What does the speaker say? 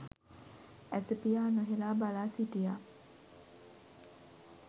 ඇස පියා නොහෙළා බලා සිටියා.